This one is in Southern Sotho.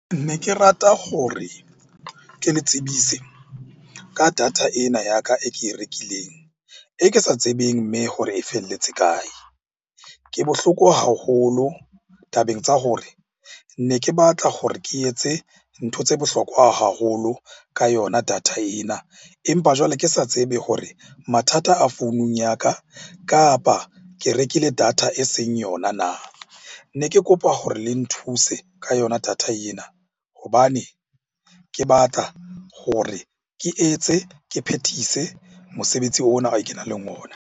Ne ke rata hore ke le tsebise ka data ena ya ka e ke e rekileng, e ke sa tsebeng mme hore e felletse kae? Ke bohloko haholo tabeng tsa hore ne ke batla hore ke etse ntho tse bohlokwa haholo ka yona data ena. Empa jwale, ke sa tsebe hore mathata a founung ya ka kapa ke rekile data data e seng yona na? Ne ke kopa hore le nthuse ka yona data ena hobane ke batla hore ke etse, ke phethise mosebetsi ona o kenang le ona.